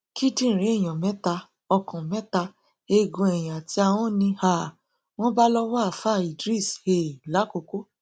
kíndìnrín èèyàn mẹta ọkàn mẹta eegun eyín àti ahọn ni um wọn bá lọwọ àáfàá idris um làkòkò